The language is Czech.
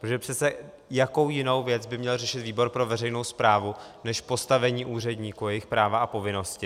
Protože přece jakou jinou věc by měl řešit výbor pro veřejnou správu než postavení úředníků a jejich práva a povinnosti?